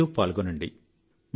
మీరూ పాల్గొనండి